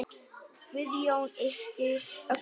Guðjón yppti öxlum.